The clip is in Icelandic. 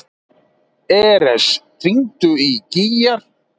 Eres, hringdu í Gígjar.